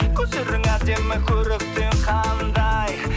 көздерің әдемі көрікті ең қандай